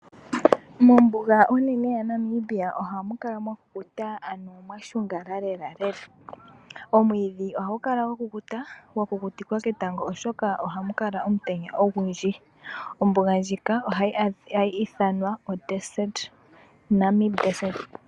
Mombuga onene yaNamibia ohamu kala mwa kukuta ano mwashungala lela lela. Omwiidhi ohagu kala gwakukuta, gwakukutiwa ketango oshoka ohamu kala omutenya ogundji. Ombuga ndjika ohayi ithanwa oNamib desert.